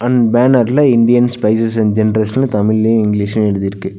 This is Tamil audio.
ம் பேனர்ல இந்தியன் ஸ்பைசஸ் அண்ட் ஜெனரேஷன்னு தமிழ்லயு இங்கிலீஷ்லயு எழுதிருக்கு.